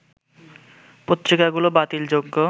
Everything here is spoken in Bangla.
পত্রিকাগুলো বাতিল যোগ্য